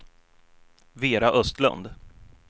Vera Östlund